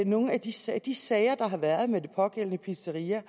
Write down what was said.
nogen af de sager de sager der har været med det pågældende pizzeria